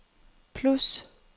plus